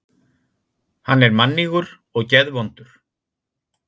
Hann er mannýgur og geðvondur.